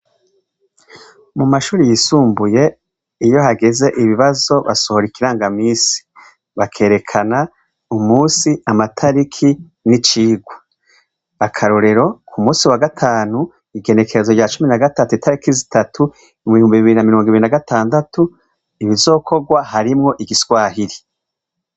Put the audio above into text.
Mu mashuri yisumbuye iyo hageze ibibazo basohora ikirangamisi bakerekana umusi, amatariki, n'icigwa. Akarorero ku musi wagatanu igenekerezo rya cumi nagatatu itariki zitatu mu bihumbi bibiri na mirongwibiri nagatandatu ibizokogwa harimwo igiswahili.